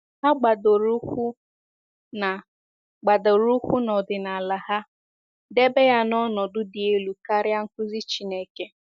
Ha gbadoro ụkwụ na gbadoro ụkwụ na ọdịnala ha, debe ya n’ọnọdụ dị elu karịa nkụzi Chineke.